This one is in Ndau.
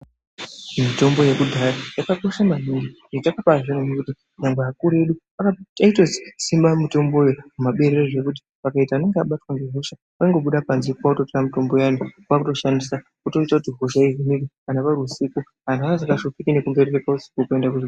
Mitombo yekudhaya yakakosha maningi ngekuti vantu vakuru vedu vaitosima mitomboyo ngekuti pakaita anenge abatwe nehosha vaingobuda pabanze votora mitombo iyi kwakutoshandisa wotoita kuti hona ihinike kana uri husiku vantu vanga vasinganetseki nekuenda kuzvibhedhlera.